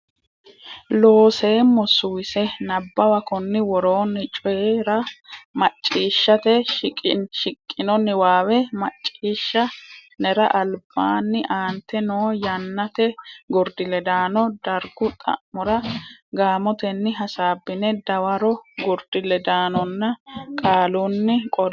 Looseemmo Suwise Nabbawa konni woroonni Coyi ra maccishshate shiqqino niwaawe macciishsha nera albaanni aante noo Yannate Gurdi ledaano Dargu xa mora gaamotenni hasaabbine dawaro Gurdi ledaanonna qaalunni qolle.